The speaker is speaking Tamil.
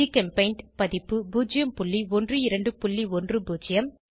ஜிகெம்பெயிண்ட் பதிப்பு 01210